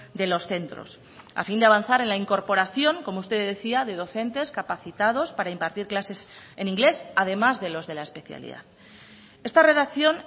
de los centros a fin de avanzar en la incorporación como usted decía de docentes capacitados para impartir clases en inglés además de los de la especialidad esta redacción